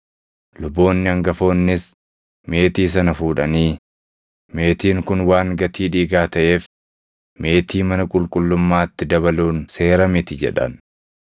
Luboonni hangafoonnis meetii sana fuudhanii, “Meetiin kun waan gatii dhiigaa taʼeef meetii mana qulqullummaatti dabaluun seera miti” jedhan.